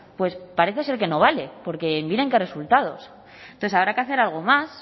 pues parece ser que no vale porque miren qué resultados entonces habrá que hacer algo más